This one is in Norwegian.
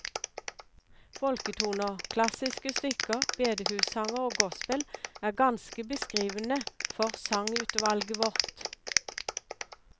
Folketoner, klassiske stykker, bedehussanger og gospel er ganske beskrivende for sangutvalget vårt.